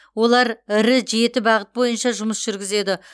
олар ірі жеті бағыт бойынша жұмыс жүргізеді